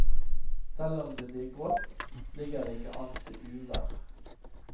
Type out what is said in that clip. Selv om det blir grått, ligger det ikke an til uvær.